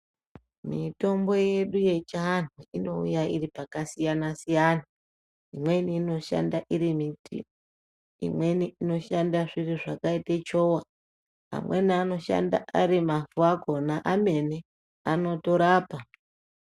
Mitombo yedu yechianhu inouya iri pakasiyana-siyana, imweni inoshanda iri miti, imweni inoshanda zviri zvakaite chowa, amweni anoshanda ari mavhu akhona emene anotora pa.